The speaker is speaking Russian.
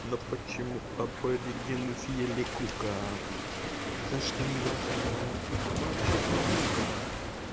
но почему аборигены съели кука за что неясно молчит наука